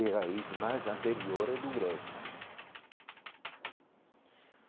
é raiz, mas anteriores do grego né.